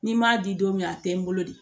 Ni n m'a di don min na a tɛ n bolo de